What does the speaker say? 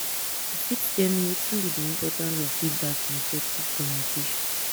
you fit tell me wetin be be di importance of feedback in effective communication?